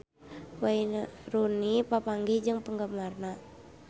Wayne Rooney papanggih jeung penggemarna